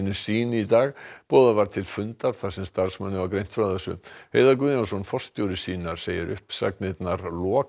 sýn í dag boðað var til fundar þar sem starfsmönnum var greint frá þessu Heiðar Guðjónsson forstjóri sýnar segir uppsagnirnar